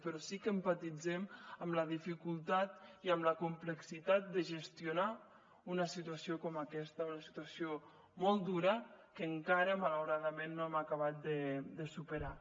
però sí que empatitzem amb la dificultat i amb la complexitat de gestionar una situació com aquesta una situació molt dura que encara malauradament no hem acabat de superar